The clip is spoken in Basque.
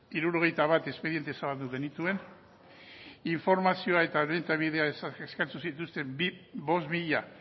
hirurogeita bat espediente zabaldu genituen informazioa eta arreta bidea eskatu zituzten bost mila